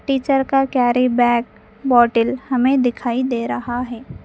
Teacher का carry bag bottle हमें दिखाई दे रहा है।